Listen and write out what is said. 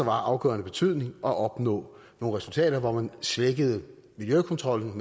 afgørende betydning at opnå nogle resultater hvor man svækkede miljøkontrollen